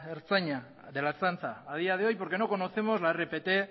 ertzaintza a día de hoy porque no conocemos la rpt